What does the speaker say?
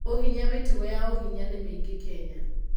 Ũhinya Mĩtugo ya ũhinya nĩ mĩingĩ Kenya.